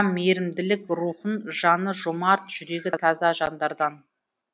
мейірімділік рухын жаны жомарт жүрегі таза жандардан